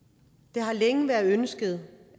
det har længe været et ønske